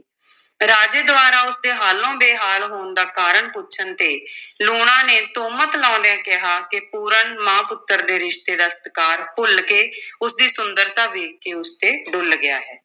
ਰਾਜੇ ਦੁਆਰਾ ਉਸ ਦੇ ਹਾਲੋਂ ਬੇਹਾਲ ਹੋਣ ਦਾ ਕਾਰਣ ਪੁੱਛਣ ਤੇ ਲੂਣਾ ਨੇ ਤੁਹਮਤ ਲਾਉਂਦਿਆਂ ਕਿਹਾ ਕਿ ਪੂਰਨ ਮਾਂ-ਪੁੱਤਰ ਦੇ ਰਿਸ਼ਤੇ ਦਾ ਸਤਿਕਾਰ ਭੁੱਲ ਕੇ ਉਸ ਦੀ ਸੁੰਦਰਤਾ ਵੇਖ ਕੇ ਉਸ ਤੇ ਡੁੱਲ੍ਹ ਗਿਆ ਹੈ।